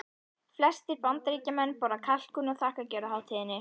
Flestir Bandaríkjamenn borða kalkún á þakkargjörðarhátíðinni.